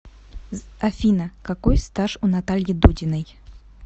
афина какой стаж у натальи дудиной